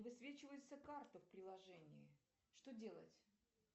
высвечивается карта в приложении что делать